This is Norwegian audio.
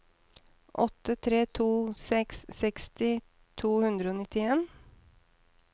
åtte tre to seks seksti to hundre og nitten